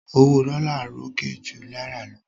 Owó dollar ròkè ju náírà lọ